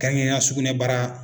Kɛrɛnkɛrɛnya sugunɛbara